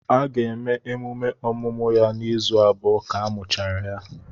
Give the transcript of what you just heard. A ga-eme emume ọmụmụ ya na izu abụọ ka amuchara ya